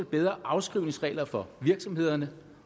bedre afskrivningsregler for virksomhederne